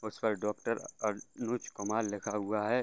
और उस पर डॉक्टर अनुज कुमार लिखा हुआ है।